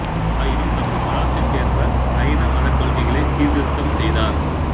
ஆயினும் தமது காலத்திற்கேற்ப சைன மத கொள்கைகளை சீர்திருத்தம் செய்தார்